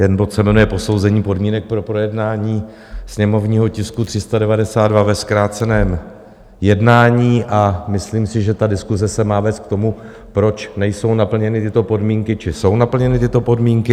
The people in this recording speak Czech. Ten bod se jmenuje Posouzení podmínek pro projednání sněmovního tisku 392 ve zkráceném jednání a myslím si, že ta diskuse se má vést k tomu, proč nejsou naplněny tyto podmínky, či jsou naplněny tyto podmínky.